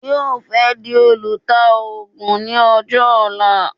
Yóò fẹ́ di olùtaògùn ní ọjọ́ ọ̀la